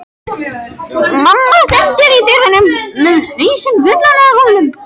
Mamma stendur í dyrunum með hausinn fullan af rúllum.